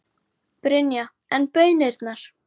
Brynja: En baunirnar?